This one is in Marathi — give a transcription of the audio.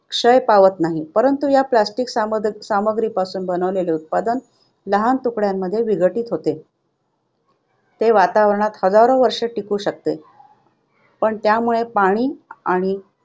क्षय पावत नाही, परंतु या plastic सामग्री सामग्रीपासून बनविलेले उत्पादन लहान तुकड्यांमध्ये विघटित होते. ते वातावरणात हजारो वर्षे टिकू शकते, पण त्यामुळे पाणी आणि